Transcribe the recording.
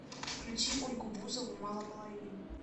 включи ольгу бузову мало половин